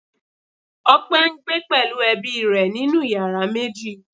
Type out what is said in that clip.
Ọpẹ ń gbé pẹ̀lú ẹbí rẹ nínú yàrá méjì